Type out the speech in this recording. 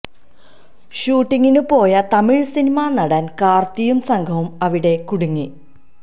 ഷൂട്ടിങിന് പോയ തമിഴ് സിനിമാ നടന് കാര്ത്തിയും സംഘവും അവിടെ കുടുങ്ങി